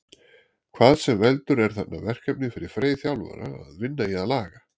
Hvað sem veldur er þarna verkefni fyrir Frey þjálfara að vinna í að laga.